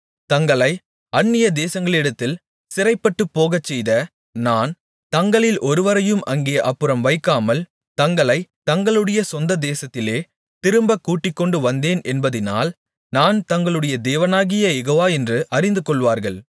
தங்களை அந்நியதேசங்களிடத்தில் சிறைப்பட்டுப்போகச்செய்த நான் தங்களில் ஒருவரையும் அங்கே அப்புறம் வைக்காமல் தங்களைத் தங்களுடைய சொந்ததேசத்திலே திரும்பக் கூட்டிக்கொண்டு வந்தேன் என்பதினால் நான் தங்களுடைய தேவனாகிய யெகோவா என்று அறிந்துகொள்வார்கள்